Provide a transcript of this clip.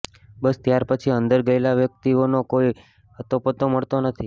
બસ ત્યારપછી અંદર ગયેલા વ્યકિતઓ નો કોઈ અતોપતો મળતો નથી